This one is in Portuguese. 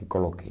E coloquei.